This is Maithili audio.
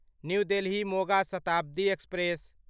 new Delhi Moga Shatabdi express